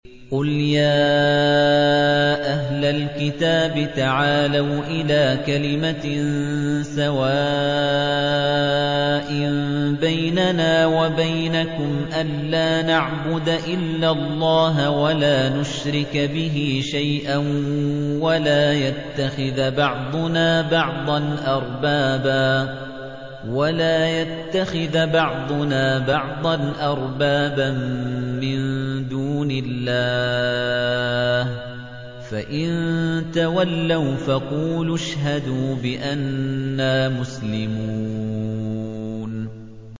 قُلْ يَا أَهْلَ الْكِتَابِ تَعَالَوْا إِلَىٰ كَلِمَةٍ سَوَاءٍ بَيْنَنَا وَبَيْنَكُمْ أَلَّا نَعْبُدَ إِلَّا اللَّهَ وَلَا نُشْرِكَ بِهِ شَيْئًا وَلَا يَتَّخِذَ بَعْضُنَا بَعْضًا أَرْبَابًا مِّن دُونِ اللَّهِ ۚ فَإِن تَوَلَّوْا فَقُولُوا اشْهَدُوا بِأَنَّا مُسْلِمُونَ